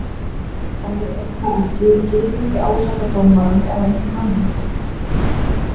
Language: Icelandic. En við erum það ekki og getum ekki ásakað dómarann eða einhvern annan.